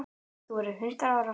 Þú verður hundrað ára.